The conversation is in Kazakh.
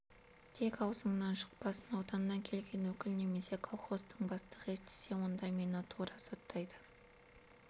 тек аузыңнан шықпасын ауданнан келген өкіл немесе колхоздың бастығы естісе онда мені тура соттайды